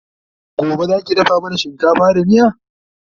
Gobe Zaki dafa mana shinkafa da miya?